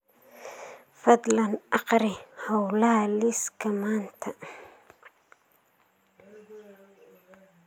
fadlan akhri hawlaha liiska maanta